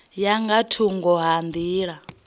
ya nga thungo ha nḓila